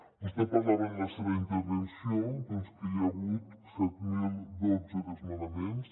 vostè parlava en la seva intervenció que hi ha hagut set mil dotze desnonaments